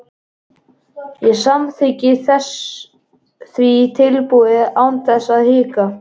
Ég samþykkti því tilboðið án þess að hika.